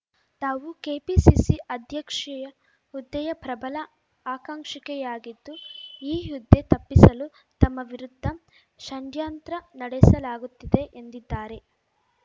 ತಾವು ಕೆಪಿಸಿಸಿ ಅಧ್ಯಕ್ಷೆಯ ಹುದ್ದೆಯ ಪ್ರಬಲ ಆಕಾಂಕ್ಷಿಕೆಯಾಗಿದ್ದು ಈ ಹುದ್ದೆ ತಪ್ಪಿಸಲು ತಮ್ಮ ವಿರುದ್ಧ ಷಂಡ್ಯಂತ್ರ ನಡೆಸಲಾಗುತ್ತಿದೆ ಎಂದಿದ್ದಾರೆ